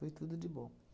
Foi tudo de bom.